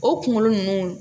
O kunkolo nunnu